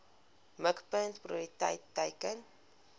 mikpunt prioriteit teiken